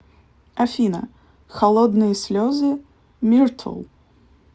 афина холодные слезы миртл